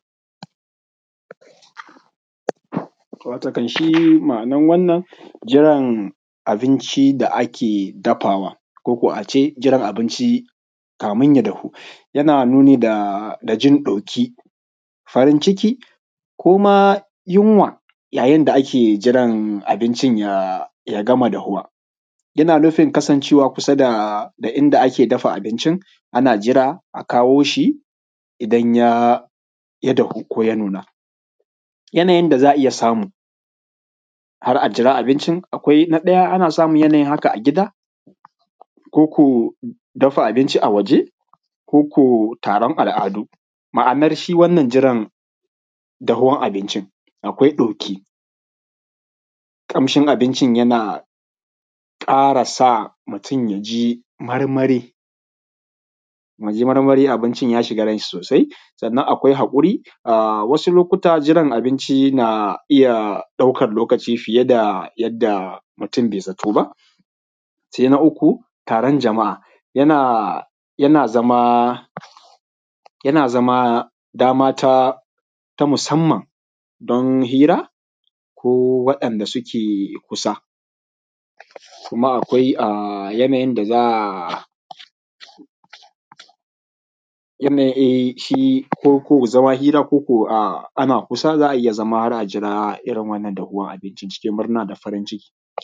Watakan shi ma’anan wannan jiran abinci da ake dafawa ko ko a ce jiran abinci kamin ya dahu yana nuni da jin ɗoki, farin ciki koma yunwa yayin da ake jiran abincin ya gama dahuwa, yana nufin kasancewa kusa da inda ake dafa abincin ana jira a kawo shi, idan ya dahu ko ya nuna, yanayin da za’a iya samu har a jira abincin, akwai na daya ana iya samu yanayin haka a gida ko ko dafa abinci a waje ko ko taron al’adu ma’anar shi wannan jiran dahuwar abinci, akwai ɗoki, kamshin abincin yana kara sa mutun yaji marmari muji marmari abincin ya shiga ran shi sosai, sannan akwai hakuri wasu lokuta jiran abinci na iya daukan lokaci fiye da yadda mutun bai zato ba, sai na uku taron jama’a yana yana zama yana zama dama ta musamman don hira ko wadanda suke kusa, kuma akwai um yanayin da za’a um eh, shi ko ko zama hira ko ko um ana kusa za’a iya zama har a jira irin wannan dahuwar abinci cikin murna da farin ciki.